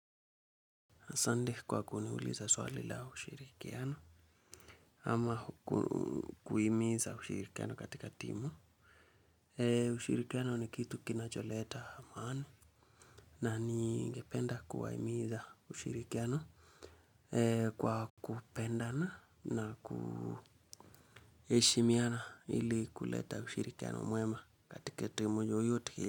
Asanti kwa kuniuliza swali la ushirikiano. Ama kuhimiza ushirikiano katika timu. Ushirikiano ni kitu kinacholeta maana. Na ningependa kuwahimiza ushirikiano. Kwa kupendana na kuheshimiana ili kuleta ushirikiano mwema katika timu yoyote.